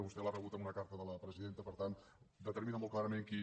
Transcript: vostè l’ha rebut amb una carta de la presidenta per tant determina molt clarament qui